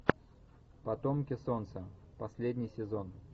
потомки солнца последний сезон